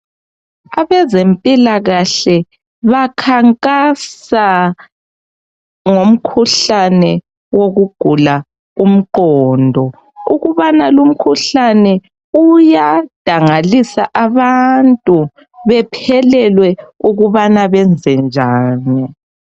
Abezempilakahle bakhankasa ngomkhuhlane wokugula umqondo. Ukubana kumkhuhlane uyadangalisa abantu bephelelwe ukubana benze njani.